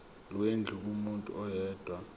lwendlu kumuntu oyedwa